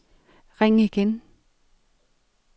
ring igen